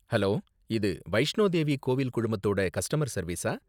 Hello! இது வைஷ்ணோ தேவி கோவில் குழுமத்தோட கஸ்டமர் சர்வீஸா?